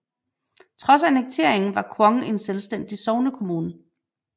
Trods annekteringen var Kvong en selvstændig sognekommune